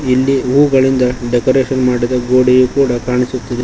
ಇಲ್ಲಿ ಹೂಗಳಿಂದ ಡೆಕೋರೇಷನ್ ಮಾಡಿದ ಗೋಡೆಯೂ ಕೂಡ ಕಾಣಿಸುತ್ತಿದೆ.